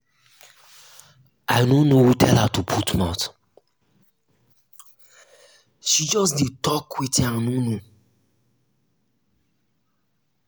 i no know who tell her to put mouth she just dey talk wetin i no know